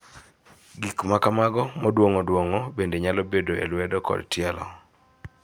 Gik ma kamago moduong'o duong'o bende nyalo bedo e lwedo kod tielo.